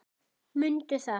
Mundu það.